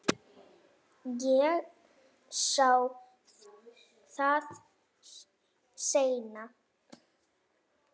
Ég sá það seinna.